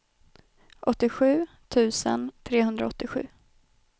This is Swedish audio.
åttiosju tusen trehundraåttiosju